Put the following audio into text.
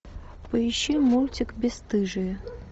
поищи мультик бесстыжие